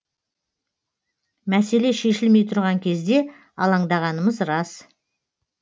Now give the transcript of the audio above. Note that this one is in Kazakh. мәселе шешілмей тұрған кезде алаңдағанымыз рас